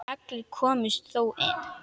Allir komust þó inn.